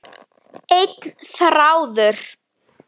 Einn þráður.